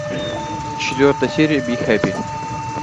четвертая серия би хэппи